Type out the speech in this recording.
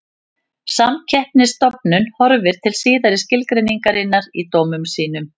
Samkeppnisstofnun horfir til síðari skilgreiningarinnar í dómum sínum.